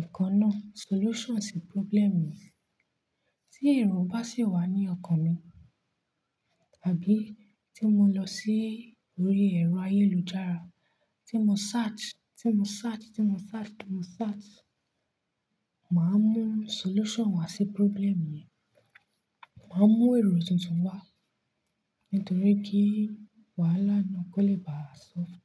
nǹkan náà, solution sí problem yẹn. Tí èrò bá sì wà ní ọkàn mi, tàbí tí mo lọ sí orí ẹ̀rọ ayélujára, tí mo search, tí mo search, tí mo search, tí mo search, màá mú solution wá sí problem yẹn. Màá mú èrò tuntun wá nítorí kí wàhálà náà kó lè ba soft.